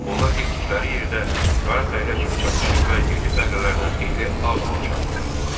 Onlar getdikləri yerdə qara fəhlə kimi çalışır və yerli fəhlələrdən xeyli az maaş alırdılar.